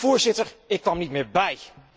Voorzitter, ik kwam niet meer bij!